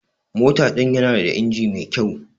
Mota din yana da inji mai kyau.